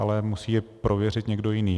Ale musí je prověřit někdo jiný.